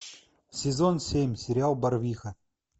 сезон семь сериал барвиха